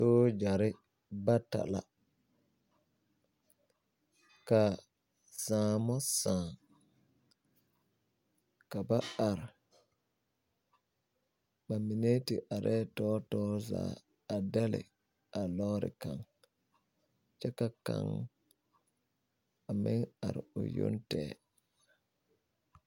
Soɡyare bata la ka saamo sãã ka ba are ba mine te arɛɛ tɔɔtɔɔre zaa a dɛle a lɔɔre kaŋ kyɛ ka kaŋ a meŋ are o yoŋ tɛɛ.